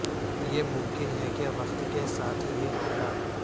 یہ ممکن ہے کہ وقت کے ساتھ یہ ہو گا